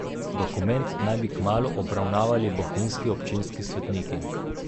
Dokument naj bi kmalu obravnavali bohinjski občinski svetniki.